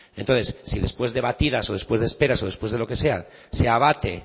entonces si después de batidas o después de esperas o después de lo que sea se abate